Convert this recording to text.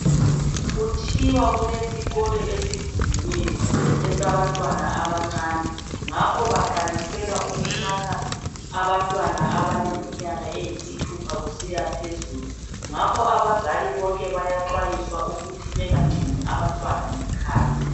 Kuthiwa kulesikolo esivuliweyo esabantwana abancane ngakho baqalisela ukuthatha abantwana abaleminyaka eyisithupha kusiya phezulu ngakho abazali bonke bayaxwayiswa ukuthi bangatshiyi abantwana ngekhaya.